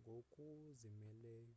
ngokuzimeleyo